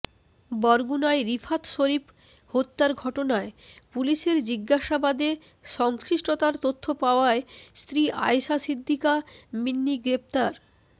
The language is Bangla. বরগুনায় রিফাত শরীফ হত্যার ঘটনায় পুলিশের জিজ্ঞাসাবাদে সংশ্লিষ্টতার তথ্য পাওয়ায় স্ত্রী আয়েশা সিদ্দিকা মিন্নি গ্রেপ্তার